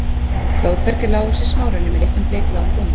Blóðberg er lágvaxinn smárunni með litlum bleikbláum blómum.